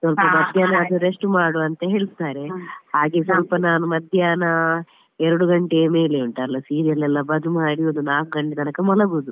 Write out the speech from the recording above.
ಸ್ವಲ್ಪ ಮಧ್ಯಾಹ್ನ ಆದ್ರೂ rest ಮಾಡು ಅಂತ ಹೇಳ್ತಾರೆ. ಹಾಗೆ ಸ್ವಲ್ಪ ನಾನು ಮಧ್ಯಾಹ್ನ ಎರಡು ಗಂಟೆಯ ಮೇಲೆ ಉಂಟಲ್ಲ serial ಎಲ್ಲ ಬಂದು ಮಾಡಿ ಒಂದು ನಾಕು ಗಂಟೆಯ ತನಕ ಮಲಗುದು.